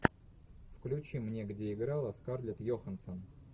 включи мне где играла скарлетт йоханссон